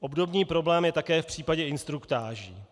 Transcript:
Obdobný problém je také v případě instruktáží.